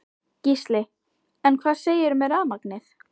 Gísli: En hvað segirðu með rafmagnið?